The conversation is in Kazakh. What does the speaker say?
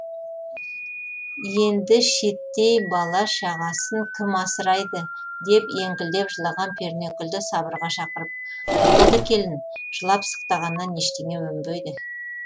енді шеттей бала шағасын кім асырайды деп еңкілдеп жылаған пернекүлді сабырға шақырып болды келін жылап сықтағаннан ештеңе өнбейді